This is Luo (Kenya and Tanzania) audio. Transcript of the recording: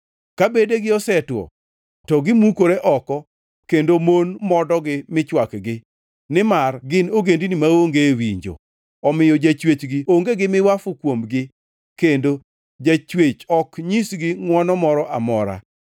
Ka bedegi osetwo to gimukore oko kendo mon modogi michwakgi. Nimar gin ogendini maonge winjo; omiyo Jachwechgi onge gi miwafu kuomgi, kendo Jachwech ok nyisgi ngʼwono moro amora.